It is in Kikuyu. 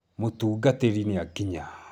Mutungatiri ni akinya